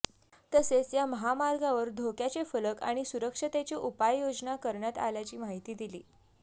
तसेेच या महामार्गावर धोक्याचे फलक आणि सुरक्षतेचे उपयायोजना करण्यात आल्याची माहिती दिली